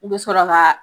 I bɛ sɔrɔ ka